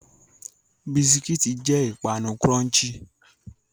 Biscuits ni o wa crunchy ipanu